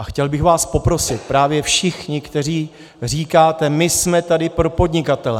A chtěl bych vás poprosit, právě všechny, kteří říkáte: my jsme tady pro podnikatele.